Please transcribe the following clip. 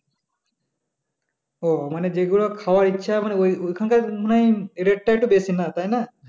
ও মানে যেগুলো খাওয়ার ইচ্ছা মানে ঐ~ ঐখানকার মনে হয় rate টা একটু বেশি হয় তাই না?